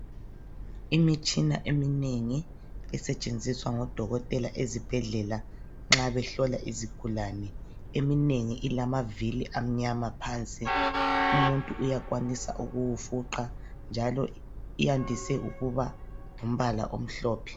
Imitshina eminengi esetshenziswa ngodokotela ezibhedlela nxa behlola izigulani, eminengi ilamavili amnyama phansi umuntu uyakwanisa ukuwufuqa njalo yandise ukuba lombala omhlophe.